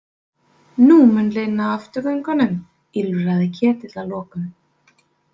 Nú mun linna afturgöngunum, ýlfraði Ketill að lokum.